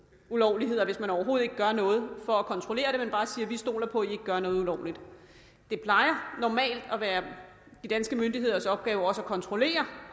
ulovligheder hvis man overhovedet ikke gør noget for at kontrollere det men bare siger vi stoler på at i ikke gør noget ulovligt det plejer normalt at være de danske myndigheders opgave også at kontrollere